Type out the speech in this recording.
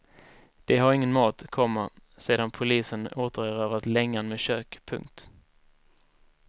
De har ingen mat, komma sedan polisen återerövrat längan med kök. punkt